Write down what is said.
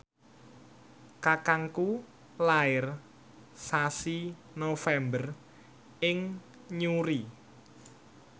kakangku lair sasi November ing Newry